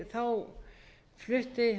þá flutti